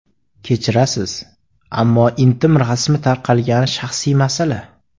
Kechirasiz, ammo intim rasmi tarqagani shaxsiy masala.